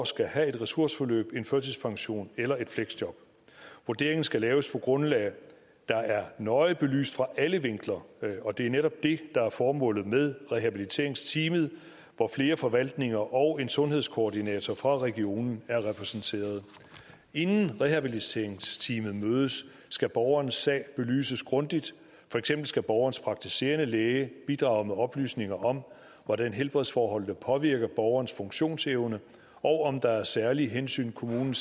skal have et ressourceforløb en førtidspension eller et fleksjob vurderingen skal laves på et grundlag der er nøje belyst fra alle vinkler og det er netop det der er formålet med rehabiliteringsteamet hvor flere forvaltninger og en sundhedskoordinator fra regionen er repræsenteret inden rehabiliteringsteamet mødes skal borgerens sag belyses grundigt for eksempel skal borgerens praktiserende læge bidrage med oplysninger om hvordan helbredsforholdene påvirker borgerens funktionsevne og om der er særlige hensyn kommunen